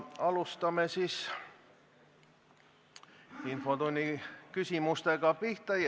Hakkame siis infotunni küsimustega pihta.